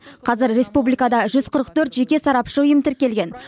қазір республикада жүз қырық төрт жеке сарапшы ұйым тіркелген